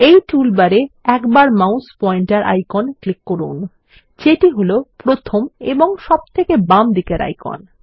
এই টুলবার এ একবার মাউস পয়েন্টার আইকন ক্লিক করুন যেটি হল প্রথম এবং সবথেকে বামদিকের আইকন